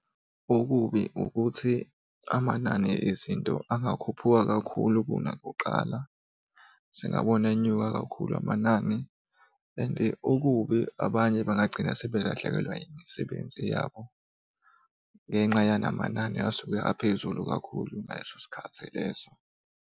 Okubi ukuthi amanani ezinto angakhuphuka kakhulu kunakuqala, singabona enyuka kakhulu amanani and okubi abanye bangagcina sebelahlekelwa imisebenzi yabo ngenxa yamanani asuke aphezulu kakhulu ngaleso sikhathi leso.